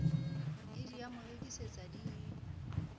id ya morekisi le id